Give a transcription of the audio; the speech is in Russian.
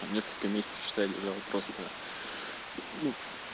там несколько месяцев считай лежал просто ну